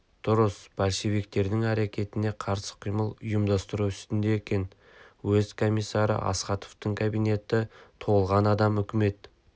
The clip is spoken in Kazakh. дұрыс большевиктердің әрекетіне қарсы қимыл ұйымдастыру үстінде екен уезд комиссары астаховтың кабинеті толған адам үкімет